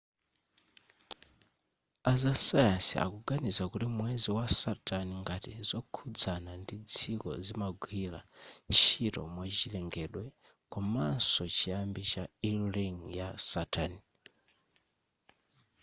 azasayansi akuganiza kuti mwezi wa saturn ngati zokhudzana ndi dziko zimagwira ntchito mwachilengedwe komanso chiyambi cha e ring ya saturn